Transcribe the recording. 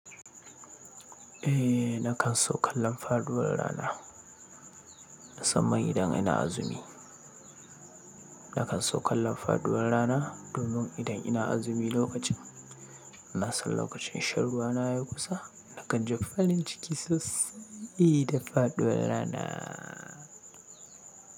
Eh, nakan so kallan faduwar rana, musamman idan ina azumi. Nakan so kallan faduwar rana, domin idan ina azumi lokacin, na san lokacin shan ruwana ya kusa. Nakan ji farin ciki sosaiii da faɗuwar ranaaa.